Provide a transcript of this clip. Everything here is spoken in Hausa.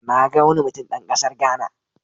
Na ga wani mutum dan kasar Ghana.